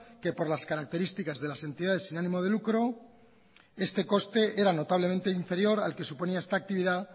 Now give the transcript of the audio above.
que por las características de las entidades sin ánimo de lucro este coste era notablemente inferior al que suponía esta actividad